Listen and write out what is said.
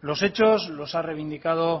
los hechos los ha reivindicado